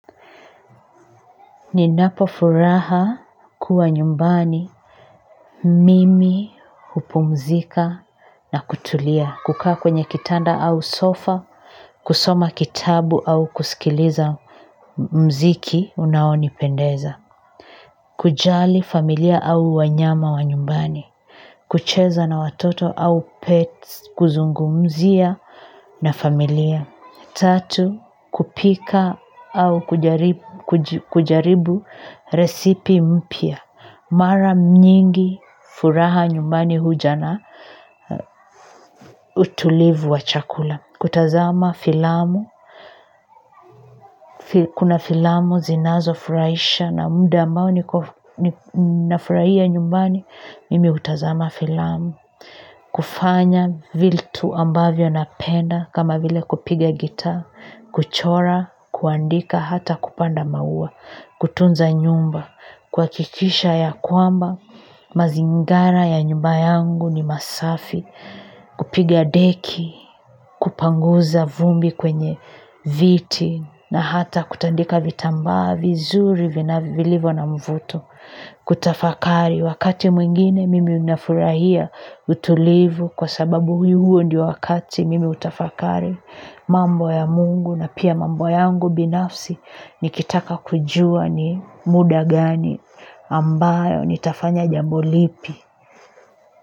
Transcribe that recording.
Ninapo furaha kuwa nyumbani. Mimi, hupumzika na kutulia, kukaa kwenye kitanda au sofa, kusoma kitabu au kusikiliza mziki unaonipendeza, kujali familia au wanyama wa nyumbani, kucheza na watoto au pets, kuzungumzia na familia. Tatu, kupika au kujaribu resipi mpia. Mara nyingi furaha nyumbani huja na utulivu wa chakula. Kutazama filamu. Kuna filamu zinazofurahisha na muda ambao niko nafurahia nyumbani, mimi hutazama filamu. Kufanya vitu ambavyo napenda kama vile kupiga gita, kuchora, kuandika hata kupanda maua. Kutunza nyumba kuhakikisha ya kwamba mazingara ya nyumba yangu ni masafi. Kupiga deki. Kupanguza vumbi kwenye viti, na hata kutandika vitambaa vizuri vilivyo na mvuto. Kutafakari wakati mwingine mimi nafurahia utulivu kwa sababu huo ndio wakati mimi hutafakari mambo ya Mungu na pia mambo yangu binafsi nikitaka kujua ni muda gani ambao nitafanya jambo lipi.